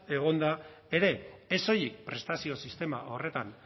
egonda ere ez soilik prestazio sistema horretan